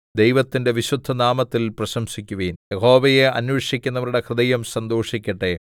ദൈവത്തിന്റെ വിശുദ്ധനാമത്തിൽ പ്രശംസിക്കുവിൻ യഹോവയെ അന്വേഷിക്കുന്നവരുടെ ഹൃദയം സന്തോഷിക്കട്ടെ